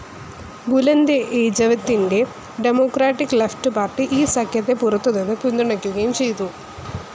Bulent എജവിത്തിന്റെ democratic left party ഈ സഖ്യത്തെ പുറത്തുനിന്ന് പിന്തുണക്കുകയും ചെയ്തു.